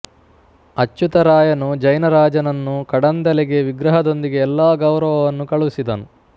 ಅಚ್ಯುತಾರಾಯನು ಜೈನ ರಾಜನನ್ನು ಕಡಂದಲೆಗೆ ವಿಗ್ರಹದೊಂದಿಗೆ ಎಲ್ಲಾ ಗೌರವವನ್ನೂ ಕಳುಹಿಸಿದನು